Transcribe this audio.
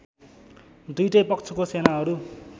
दुईटै पक्षको सेनाहरू